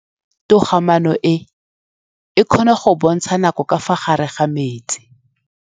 Toga maanô e, e kgona go bontsha nakô ka fa gare ga metsi.